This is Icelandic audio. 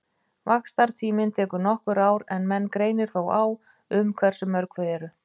Vaxtartíminn tekur nokkur ár en menn greinir þó á um hversu mörg þau eru.